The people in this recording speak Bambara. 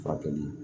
Furakɛli